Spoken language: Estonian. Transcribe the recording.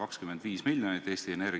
Aitäh teile eelarve eest!